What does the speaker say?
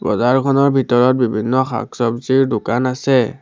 বজাৰখনৰ ভিতৰত বিভিন্ন শাক চৱজিৰ দোকান আছে।